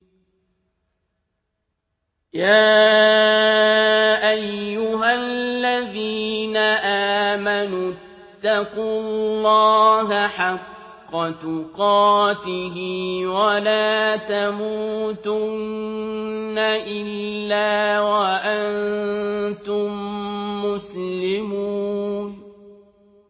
يَا أَيُّهَا الَّذِينَ آمَنُوا اتَّقُوا اللَّهَ حَقَّ تُقَاتِهِ وَلَا تَمُوتُنَّ إِلَّا وَأَنتُم مُّسْلِمُونَ